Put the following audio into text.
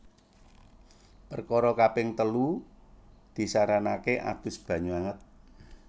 Perkara kaping telu disaranake adus banyu anget